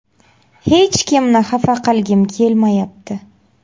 Hech kimni xafa qilgim kelmayapti.